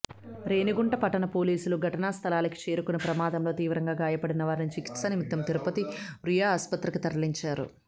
రేణిగుంట పట్టణ పోలీసులు ఘటనాస్థలికి చేరుకొని ప్రమాదంలో తీవ్రంగా గాయపడిన వారిని చికిత్స నిమిత్తం తిరుపతి రుయా ఆసుపత్రికి తరలించారు